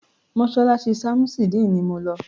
Mọ́sálásí ṣamusidini ni mọ ń lọ.